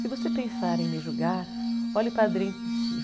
Se você pensar em me julgar, olhe para dentro de si.